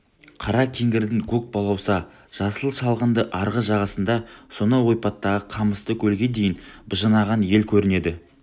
қара кеңгірдің көк балауса жасыл шалғынды арғы жағасында сонау ойпаттағы қамысты көлге дейін быжынаған ел көрінеді